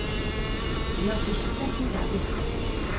De har sysselsetting der de er.